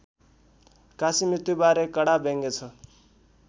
काशीमृत्युबारे कडा व्यङ्ग्य छ